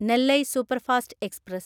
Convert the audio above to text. Nellai superfast express